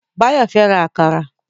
Báyọ̀ fẹ́ ra àkàrà